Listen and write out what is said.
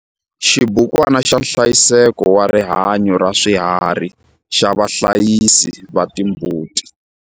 Xibukwana xa nhlayiseko wa rihanyo ra swiharhi xa vahlayisi va timbuti.